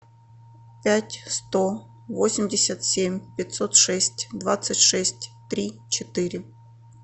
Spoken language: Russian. пять сто восемьдесят семь пятьсот шесть двадцать шесть три четыре